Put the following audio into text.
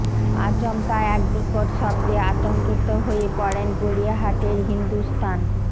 আচমকা এক বিকট শব্দে আতঙ্কিত হয়ে পড়েন গড়িয়াহাটের হিন্দুস্থান